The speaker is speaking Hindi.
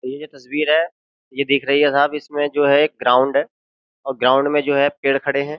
तो ये जो तस्वीर है ये दिख रही है साहब इसमें जो है एक ग्राउंड है और ग्राउंड में जो है पेड़ खड़े हैं।